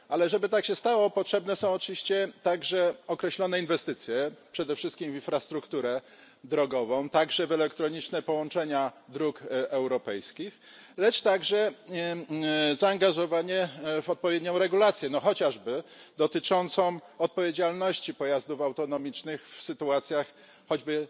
Żeby tak się jednak stało, potrzebne są oczywiście także określone inwestycje, przede wszystkim w infrastrukturę drogową, także w elektroniczne połączenia dróg europejskich, a także zaangażowanie w odpowiednią regulację no chociażby dotyczącą odpowiedzialności pojazdów autonomicznych w sytuacjach choćby